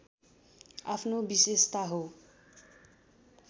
आफ्नो विशेषता हो